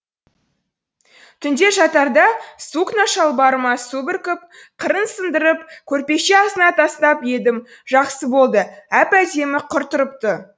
түнде жатарда сукно шалбарыма су бүркіп қырын сындырып көрпеше астына тастап едім жақсы болды әп әдемі қыр тұрыпты